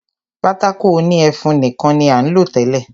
Pátákó òní ẹfun nìkan ní à ń lò tẹ́lẹ̀.